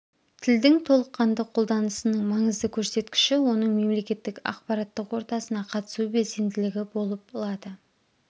тілдің толыққанды қолданысының маңызды көрсеткіші оның мемлекеттік ақпараттық ортасына қатысу белсенділігі болып лады